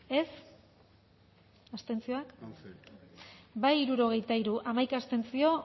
dezakegu bozketaren emaitza onako izan da hirurogeita hamalau eman dugu bozka hirurogeita hiru boto aldekoa hamaika abstentzio